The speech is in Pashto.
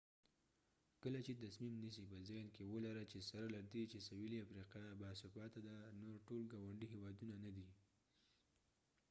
کله چې تصمیم نیسې په ذهن کې ولره چې سره لدې چې سویلي افریقا باثباته ده نور ټول ګاونډي هیوادونه نه دي